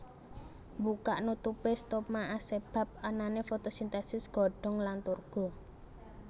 Mbukak nutupé stoma asebab anané fotosintèsis godhong lan turgo